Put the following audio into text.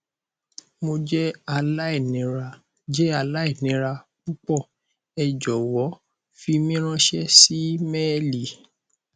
mo jẹ alainira jẹ alainira pupọ ẹ jọwọ fi mi ranṣẹ si imeeli